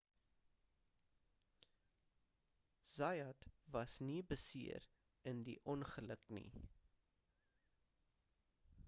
zayat was nie beseer in die ongeluk nie